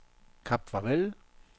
Kap Farvel